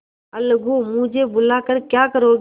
अलगूमुझे बुला कर क्या करोगी